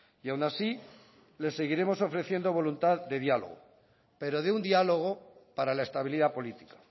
y aun así le seguiremos ofreciendo voluntad de diálogo pero de un diálogo para la estabilidad política